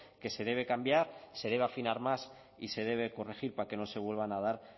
que se debe cambiar y se debe afinar más y se debe corregir para que no se vuelvan a dar